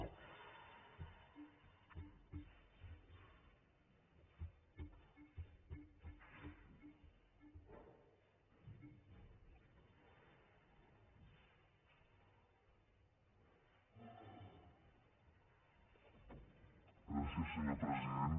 gràcies senyor president